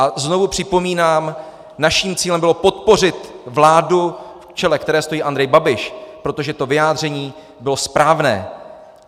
A znovu připomínám, naším cílem bylo podpořit vládu, v jejímž čele stojí Andrej Babiš, protože to vyjádření bylo správné.